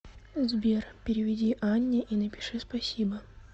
сбер переведи анне и напиши спасибо